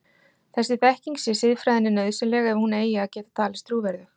Þessi þekking sé siðfræðinni nauðsynleg ef hún eigi að geta talist trúverðug.